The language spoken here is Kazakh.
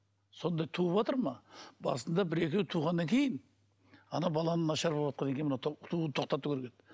сондай туыватыр ма басында бір екеуі туғаннан кейін ана баланың нашар болыватқаннан кейін мына тууды тоқтату керек еді